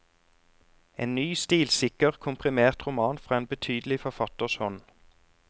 En ny stilsikker, komprimert roman fra en betydelig forfatters hånd.